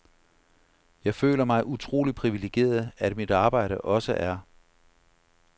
Jeg føler mig utrolig privilegeret, at mit arbejde også er